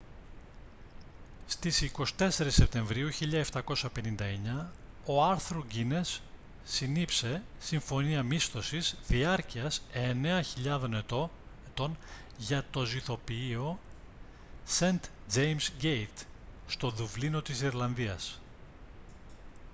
στις 24 σεπτεμβρίου 1759 ο άρθουρ γκίνες συνήψε συμφωνία μίσθωσης διάρκειας 9.000 ετών για το ζυθοποιείο σεντ τζέιμς γκέιτ στο δουβλίνο της ιρλανδίας